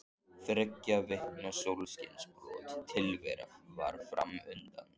Þriggja vikna sólskinsbjört tilvera var fram undan.